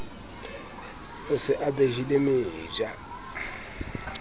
o se o behile meja